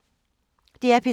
DR P3